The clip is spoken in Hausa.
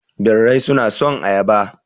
Birrai suna son ayaba